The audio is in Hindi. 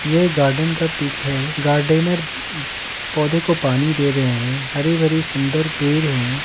यह एक गार्डन का पिक है गार्डनर पौधे को पानी दे रहे हैं हरे भरे सुंदर पेड़ है।